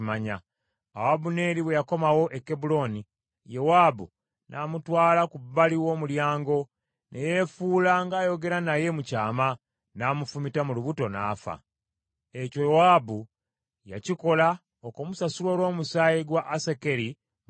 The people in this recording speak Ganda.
Awo Abuneeri bwe yakomawo e Kebbulooni, Yowaabu n’amutwala ku bbali w’omulyango, ne yeefuula ng’ayogera naye mu kyama, n’amufumita mu lubuto n’afa. Ekyo Yowaabu y’akikola okumusasula olw’omusaayi gwa Asakeri muganda we.